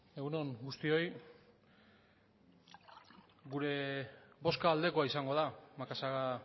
egun on guztioi gure bozka aldekoa izango da macazaga